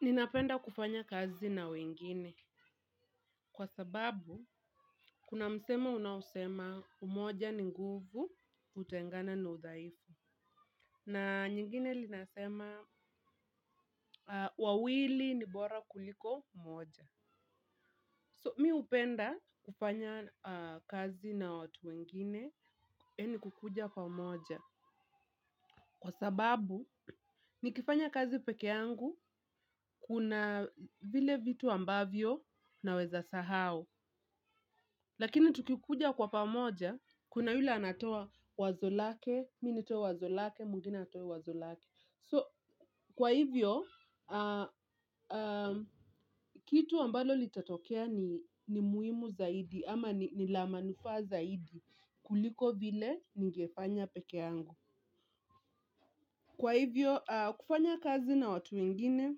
Ninapenda kufanya kazi na wengine. Kwa sababu, kuna msemo unaosema umoja ni nguvu, utengano ni udhaifu. Na nyingine inasema, wawili ni bora kuliko mmoja. So, mimi hupenda kufanya kazi na watu wengine, yaani kuja kwa umoja. Kwa sababu, nikifanya kazi peke yangu, kuna vile vitu ambavyo naweza sahau. Lakini tukija kwa pamoja, kuna yule anatoa wazo lake, mimi nitoa wazo langu, mwingine atoe wazo lake. So, kwa hivyo, kitu ambacho kitatokea ni muhimu zaidi, ama ni cha manufaa zaidi kuliko vile ningefanya peke yangu. Kwa hivyo, kufanya kazi na watu wengine,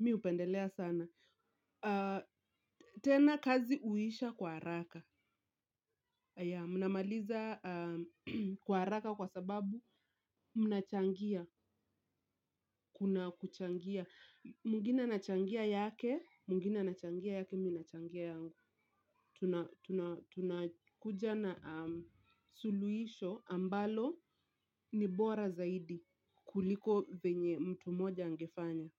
mimi hupendelea sana. Tena kazi huisha kwa haraka, mnamaliza kwa haraka kwa sababu mnachangia, kuna kuchangia. Mwingine anachangia yake, mwingine anachangia yake, mimi nachangia yangu. Tunakuja na suluhisho ambalo ni bora zaidi kuliko vile mtu mmoja angefanya.